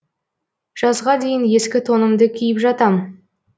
жазға дейін ескі тонымды киіп жатам